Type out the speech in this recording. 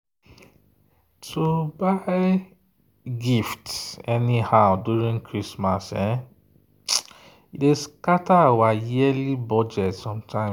to buy gift anyhow during christmas dey scatter our yearly budget sometimes.